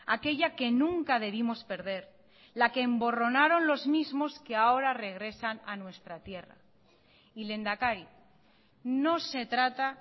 aquella que nunca debimos perder la que emborronaron los mismos que ahora regresan a nuestra tierra y lehendakari no se trata